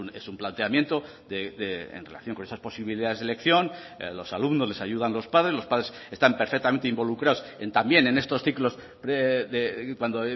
es un planteamiento en relación con esas posibilidades de elección a los alumnos les ayudan los padres los padres están perfectamente involucrados también en estos ciclos de cuando